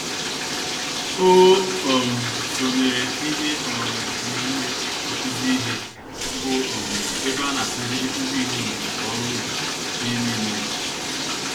O um sonyere ihe um omume nkụzi ìhè, bụ um ébé anakuziri ndinyom nka-oru-ubi, n'ime ime obodo.